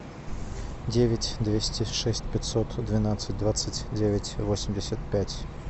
девять двести шесть пятьсот двенадцать двадцать девять восемьдесят пять